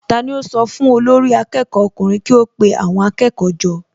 Tani ó sọ fún olórí akẹ́kọ̀ọ́ ọkùnrin kí ó pe àwọn akẹ́kọ̀ọ́ jọ?